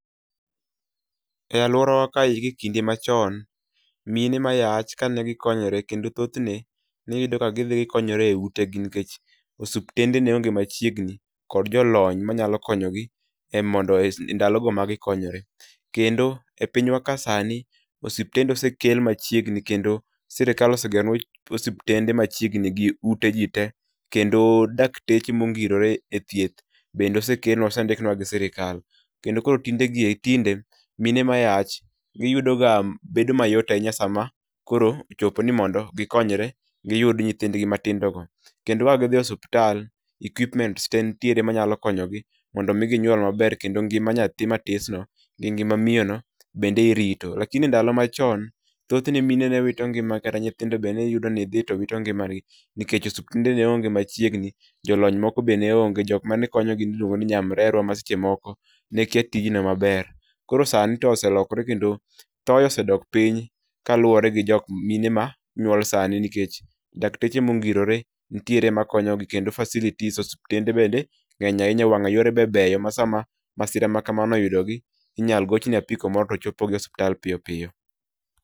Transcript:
E aluorawa kae gie kinde machon, mine mayach kane gikonyore kendo thothne neiyudo kagidhi utegi nikech osiptende neonge machiegni to kod jolony manyalo konyogi emondo endalogo magi konyore. Kendo e pinywa kae sani osiptende osekel machiegni kendo sirkal osegeronua osiptende machiegni gi utegite kendo dakteche mongirore ethieth bende osekel osendiknua gi sirikal. Kendo koro kindegi tinde mine mayach yudoga bedo mayot ahinya sama koro ochopo ni mondo gikonyre giyud nyithindgi matindogo. Kendoka gidhi e osiptal, equipment te nitiere manyalo konyo gi mondo mi ginyuol maber kendo ngima nyathi matisno gi ngima miyono bende irito. Lakini ndalo machon, thothne mine ne wito ngima kata nyithindo be ne iyudo ni dhi to wito ngimagi nikech osiptende ne onge machiegni jolony moko be ne onge. Jok manekonyogi miluongo ni nyamrerua maseche moko ne kia tijno maber. Koro sani to oselokore kendo thoye osedok piny kaluwore gi jok mine ma nyuol sani nikech dakteche mongirore nitiere makonyogi kendo facilities osiptende bende ng'eny ahinya wang'a yore be beyo masama masira makama oyudogi inyalo goch ne apiko moro to terogi osiptal piyo piyo.